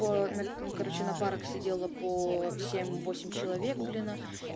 короче на парах сидела по семь восемь человек блин